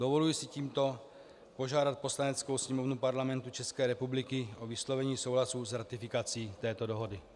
Dovoluji si tímto požádat Poslaneckou sněmovnu Parlamentu České republiky o vyslovení souhlasu s ratifikací této dohody.